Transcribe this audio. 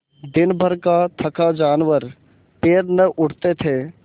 दिनभर का थका जानवर पैर न उठते थे